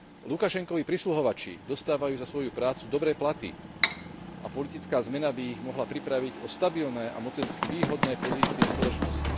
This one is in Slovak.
Lukašenkovi prisluhovači dostávajú za svoju prácu dobré platy a politická zmena by ich mohla pripraviť o stabilné a mocensky výhodné pozície v spoločnosti.